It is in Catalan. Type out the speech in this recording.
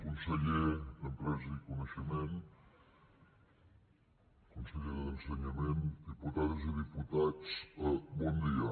conseller d’empresa i coneixement consellera d’ensenyament diputades i diputats bon dia